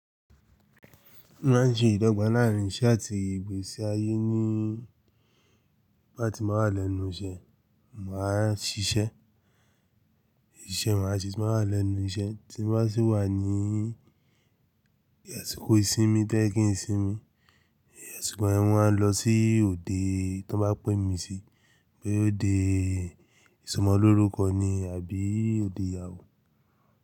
Mo máa ń ṣe ìdọ́gba láàrín iṣẹ́ àti ìgbésí ayé ní bí bá ti máa lẹ́nu iṣẹ́, mà á ṣiṣẹ́. Ìṣe mà á ṣe tí mo bá lẹ́nu iṣẹ́, tí mo bá sì wà ní ẹ̀sìkò ìsinmi to yẹ́ kín sinmi. Àsìkò yẹn máa lọ sí òde tí wọ́n bá pẹ́ mi sí. Bóyá ódé ìsọmọlórúkọ ni àbí òde ìyàwó?